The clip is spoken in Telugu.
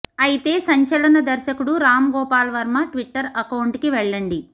అయితే సంచలన దర్శకుడు రామ్ గోపాల్ వర్మ ట్విట్టర్ అకౌంట్ కి వెళ్ళండి